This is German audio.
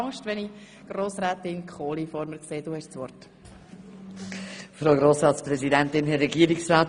Aber wenn ich nun Grossrätin Kohli vor dem Rednerpult sehe, dann habe ich diesbezüglich eigentlich keine Angst.